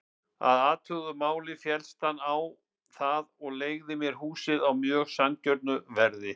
Að athuguðu máli féllst hann á það og leigði mér húsið á mjög sanngjörnu verði.